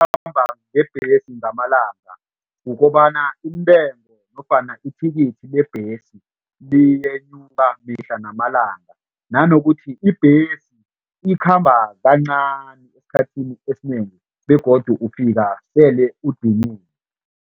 Ngebhesi ngamalanga kukobana intengo nofana ithikithi lebhesi liyenyuka mihla namalanga. Nanokuthi ibhesi ikhamba kancani esikhathini esinengi begodu ufika sele udiniwe.